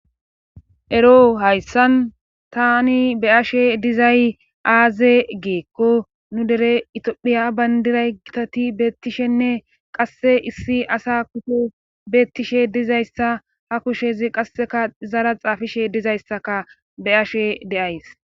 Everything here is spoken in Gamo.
ero hayssan tani be ashe dizay aaze geekko nu dere itiphiya bayndiray gitati beettishenne qasse issi asa kufo beettishe dizayssa ha kushezi qasseka zara xaafishe dizayssaka be ashe deays